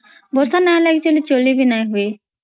ବର୍ଷା ନଇ ଲାଗି ତ ଚଲୀ ବି ନଈ ହୁଏ